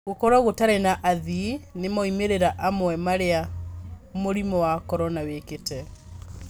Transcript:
Gũkorwo gutarĩ na athii nĩ moimĩrĩra amwe marĩa murimu wa Korona wĩkĩte.